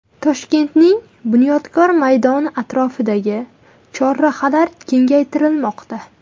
Toshkentning Bunyodkor maydoni atrofidagi chorrahalar kengaytirilmoqda.